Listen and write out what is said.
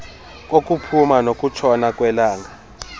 kokuphuma nokutshona kwelanga